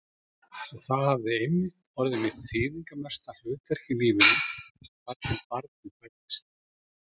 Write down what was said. Og það hafði einmitt orðið mitt þýðingarmesta hlutverk í lífinu, þar til barnið fæddist.